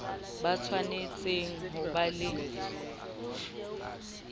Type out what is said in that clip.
ba tshwanetse ho ba le